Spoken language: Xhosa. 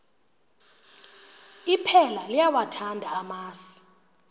iphela liyawathanda amasi